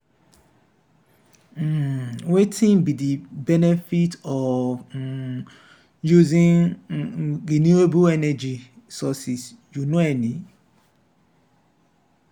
um wetin be di benefit of um using um renewable energy sources you know any?